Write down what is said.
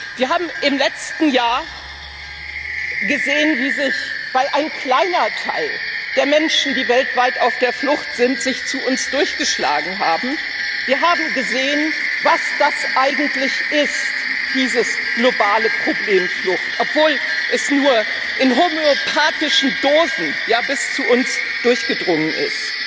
Wir haben im letzten Jahr gesehen weil sich ein kleiner Teil der Menschen, die weltweit auf der Flucht sind, zu uns durchgeschlagen haben was das eigentlich ist, dieses globale Problem Flucht, obwohl es nur in homöopathischen Dosen bis zu uns durchgedrungen ist.